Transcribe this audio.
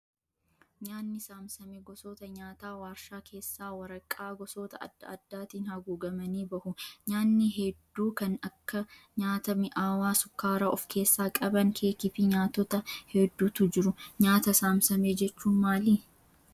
Nyaatni saamsame gosoota nyaataa warshaa keessaa waraqaa gosoota adda addaatiin haguugamanii bahu. Nyaatni hedduun kan akka nyaata mi'aawaa sukkaara of keessaa qaban keekii fi nyaatota hedduutu jiru. Nyaata saamsame jechuun maali?